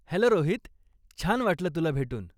Hello Rohit, छान वाटलं तुला भेटून.